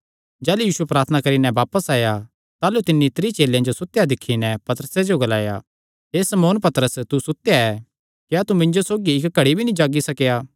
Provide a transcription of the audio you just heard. भिरी यीशु प्रार्थना करी नैं आया कने तिन्हां जो सुतेयो दिक्खी नैं पतरसे नैं ग्लाणा लग्गा हे शमौन तू सुतेया ऐ क्या तू इक्क घड़ी भी नीं जागी सकेया